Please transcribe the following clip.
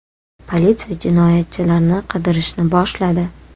Politsiya jinoyatchilarni qidirishni boshladi.